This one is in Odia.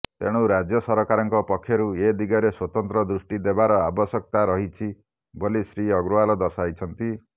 ତେଣୁ ରାଜ୍ୟ ସରକାରଙ୍କ ପକ୍ଷରୁ ଏଦିଗରେ ସ୍ବତନ୍ତ୍ର ଦୃଷ୍ଟି ଦେବାର ଆବଶ୍ୟକତା ରହିଛି ବୋଲି ଶ୍ରୀ ଅଗ୍ରୱାଲ ଦର୍ଶାଇଛନ୍ତି